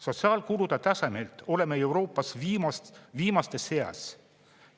Sotsiaalkulude tasemelt oleme Euroopas viimaste seas.